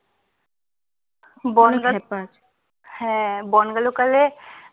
হ্যাঁ বনগাঁ লোকালে